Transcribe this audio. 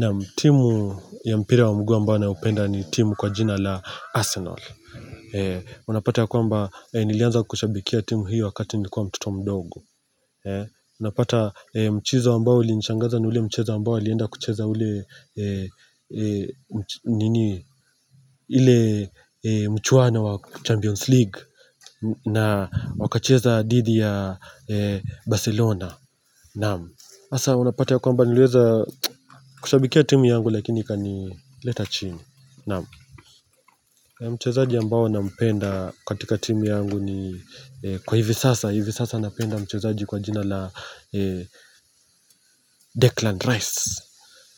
Naam, timu ya mpira wa mguu ambao naupenda ni timu kwa jina la Arsenal Unapata ya kwamba, nilianza kushabikia timu hiyo wakati nikuwa mtoto mdogo Unapata mchezo ambao ulinishangaza ni ule mchezo ambao nilienda kucheza ule mchuano wa Champions League na wakacheza didhi ya Barcelona Naamu. Hasa unapata ya kwamba niliweza kushabikia timu yangu lakini ikanileta chini. Naamu. Mchezaji ambao nampenda katika timu yangu ni kwa hivi sasa. Hivi sasa napenda mchezaji kwa jina la Declan Rice.